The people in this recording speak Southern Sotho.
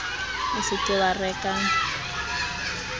o se ke wa reka